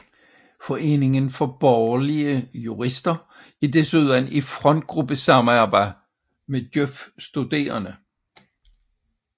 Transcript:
Foreningen for Borgerlige Jurister er desuden i frontgruppesamarbejde med Djøf Studerende